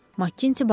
Makinti bağırdı.